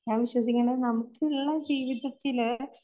ഞാൻ വിശ്വസിക്കുന്നത് നമുക്കിള്ള ജീവിതത്തില്